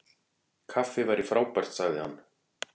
Kaffi væri frábært- sagði hann.